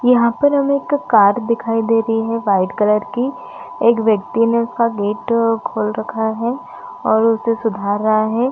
यहाँ पे हमको एक कार्ड लगा हुआ दिखाई दे रही है वाइट कलर की एक व्यक्ति ने उसका गेट खोल रखी है और उसको उघार है।